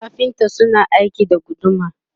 kafinta suna aiki da guduma